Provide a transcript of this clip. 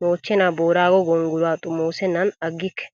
mochchenaa booraago gonggoluwaa xomoosennan aggikke.